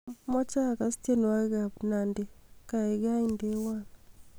amoje agas tienwogik ab nandy gaigai indewon